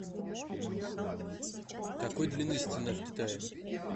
какой длины стена в китае